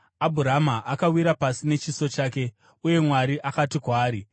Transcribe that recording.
Abhurama akawira pasi nechiso chake, uye Mwari akati kwaari,